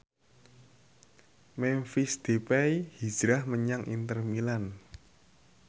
Memphis Depay hijrah menyang Inter Milan